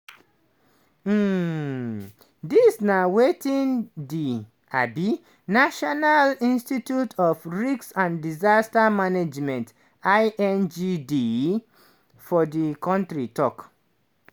um dis na wetin di um national institute of risk and disaster management (ingd) for di kontri tok.